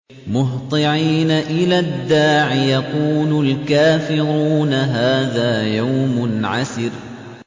مُّهْطِعِينَ إِلَى الدَّاعِ ۖ يَقُولُ الْكَافِرُونَ هَٰذَا يَوْمٌ عَسِرٌ